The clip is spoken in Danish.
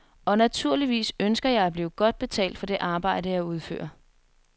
Og naturligvis ønsker jeg at blive godt betalt for det arbejde, jeg udfører.